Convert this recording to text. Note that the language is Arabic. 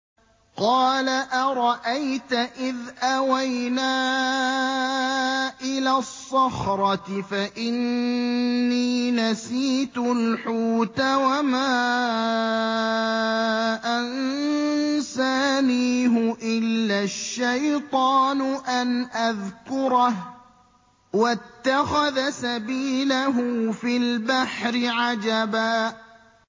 قَالَ أَرَأَيْتَ إِذْ أَوَيْنَا إِلَى الصَّخْرَةِ فَإِنِّي نَسِيتُ الْحُوتَ وَمَا أَنسَانِيهُ إِلَّا الشَّيْطَانُ أَنْ أَذْكُرَهُ ۚ وَاتَّخَذَ سَبِيلَهُ فِي الْبَحْرِ عَجَبًا